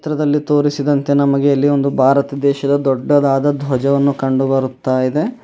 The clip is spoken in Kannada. ಚಿತ್ರದಲ್ಲಿ ತೋರಿಸಿದಂತೆ ನಮಗೆ ಇಲ್ಲಿ ಒಂದು ಭಾರತ ದೇಶದ ದೊಡ್ಡದಾದ ದ್ವಜವನ್ನು ಕಂಡುಬರುತ್ತಾ ಇದೆ.